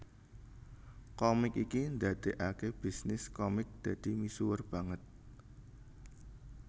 Komik iki ndadekake bisnis komik dadi misuwur banget